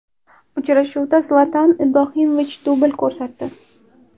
Uchrashuvda Zlatan Ibrohimovich dubl ko‘rsatdi.